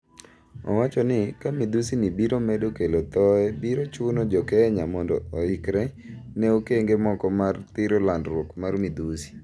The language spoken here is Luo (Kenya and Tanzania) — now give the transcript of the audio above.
Owachoni ka midhusi ni biro medo kelo thoe biro chuno jokenya mondo ohikre ne okenge moko mar thiro landruok mar midhusi.